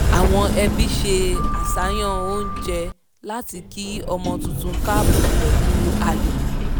àwọn ẹbí se àṣàyàn oúnjẹ láti kí ọmọ tuntun káàbọ̀ pẹ̀lú ayọ̀